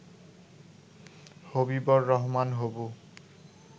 হবিবর রহমান হবু